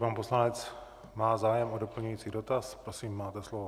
Pan poslanec má zájem o doplňující dotaz, prosím, máte slovo.